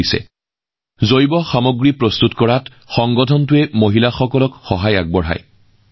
এই সংস্থাটোৱে সেইসকল মহিলাক জৈৱ সামগ্ৰী প্ৰস্তুত কৰাত সহায় কৰে